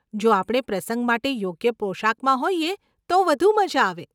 જો આપણે પ્રસંગ માટે યોગ્ય પોશાકમાં હોઈએ તો વધુ મઝા આવે.